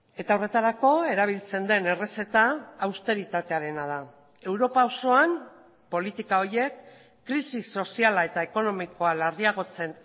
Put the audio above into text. eta horretarako erabiltzen den errezeta austeritatearena da europa osoan politika horiek krisi soziala eta ekonomikoa larriagotzen